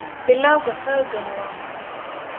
Bilawga xooggani waa muhiim.